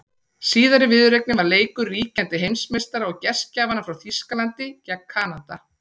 Síðari viðureignin var leikur ríkjandi heimsmeistara og gestgjafanna frá Þýskalandi gegn Kanada.